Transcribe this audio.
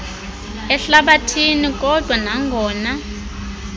ehlabathini kodwa nangona